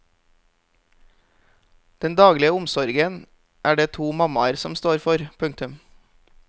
Den daglige omsorgen er det to mammaer som står for. punktum